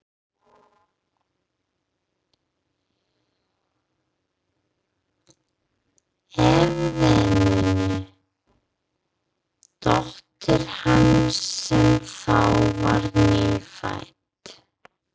Efemíu dóttur hans, sem þá var nýfædd.